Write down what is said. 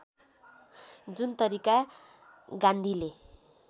जुन तरिका गान्धीले